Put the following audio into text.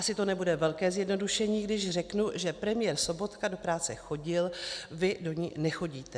Asi to nebude velké zjednodušení, když řeknu, že premiér Sobotka do práce chodil, vy do ní nechodíte.